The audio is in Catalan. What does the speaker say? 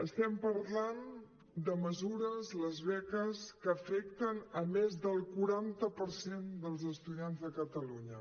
estem parlant de mesures les beques que afecten més del quaranta per cent dels estudiants de catalunya